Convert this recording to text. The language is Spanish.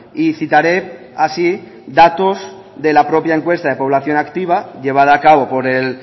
y citaré así datos de la propia encuesta de población activa llevada a cabo por el